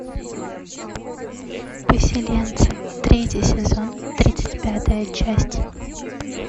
поселенцы третий сезон тридцать пятая часть